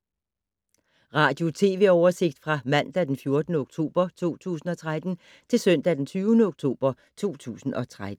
Radio/TV oversigt fra mandag d. 14. oktober 2013 til søndag d. 20. oktober 2013